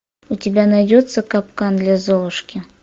у тебя найдется капкан для золушки